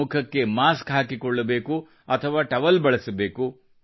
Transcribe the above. ಮುಖಕ್ಕೆ ಮಾಸ್ಕ ಹಾಕಿಕೊಳ್ಳಬೇಕು ಅಥವಾ ಟವಲ್ ಬಳಸಬೇಕು